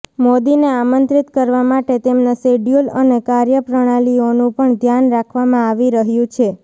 મોદીને આમંત્રિત કરવા માટે તેમના શેડ્યુલ અને કાર્યપ્રણાલીઓનું પણ ધ્યાન રાખવામાં આવી રહ્યું છે